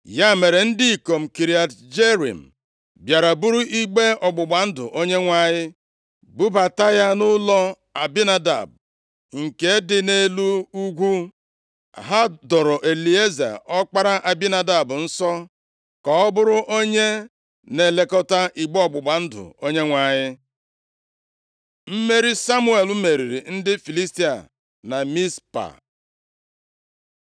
Ya mere, ndị ikom Kiriat Jearim bịara buru igbe ọgbụgba ndụ + 7:1 Igbe ọgbụgba ndụ ahụ dịgidere nʼebe a, ruo oge Devid bịara bulata ya na Jerusalem. \+xt 1Sa 6:21; Abụ 132:6; 2Sa 6:2-3\+xt* Onyenwe anyị bubata ya nʼụlọ Abinadab nke dị nʼelu ugwu. Ha doro Elieza, ọkpara Abinadab nsọ, ka ọ bụrụ onye na-elekọta igbe ọgbụgba ndụ Onyenwe anyị. Mmeri Samuel meriri ndị Filistia na Mizpa